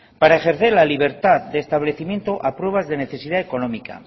para ejercer la libertad de establecimiento a pruebas de necesidad económica